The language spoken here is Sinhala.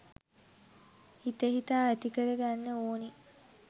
හිත හිතා ඇතිකර ගන්න ඕන.